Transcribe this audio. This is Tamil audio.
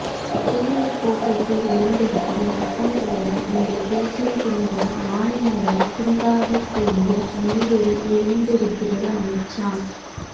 தேனீர் கோப்பைக்குள் ஒளிந்திருக்கும் ரத்தம்ப்போல உங்கள் பேச்சின் பின்புறம் மாநிலங்களைத் துண்டாடக் கூடிய மொழி வெறி ஒழிந்து இருக்கிறது அமித்ஷா